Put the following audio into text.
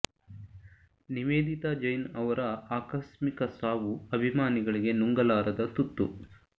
ನಿವೇದಿತಾ ಜೈನ್ ರವರ ಆಕಸ್ಮಿಕ ಸಾವು ಅಭಿಮಾನಿಗಳಿಗೆ ನುಂಗಲಾರದ ತುತ್ತು